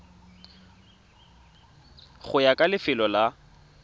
go ya ka lefelo la